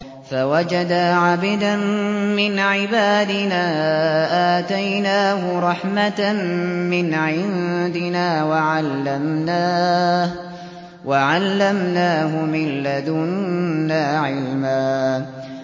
فَوَجَدَا عَبْدًا مِّنْ عِبَادِنَا آتَيْنَاهُ رَحْمَةً مِّنْ عِندِنَا وَعَلَّمْنَاهُ مِن لَّدُنَّا عِلْمًا